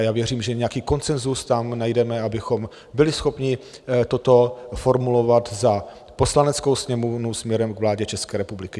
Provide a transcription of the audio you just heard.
A já věřím, že nějaký konsenzus tam najdeme, abychom byli schopni toto formulovat za Poslaneckou sněmovnu směrem k vládě České republiky.